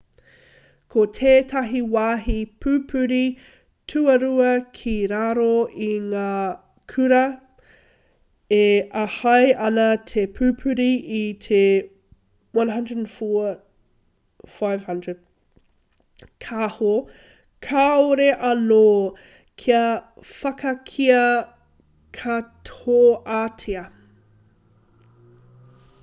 ko tētahi wāhi pupuri tuarua ki raro i ngā kura e āhei ana te pupuri i te 104,500 kāho kāore anō kia whakakīia katoatia